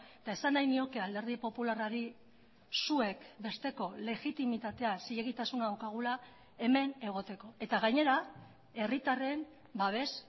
eta esan nahi nioke alderdi popularrari zuek besteko legitimitatea zilegitasuna daukagula hemen egoteko eta gainera herritarren babes